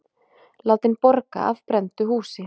Látinn borga af brenndu húsi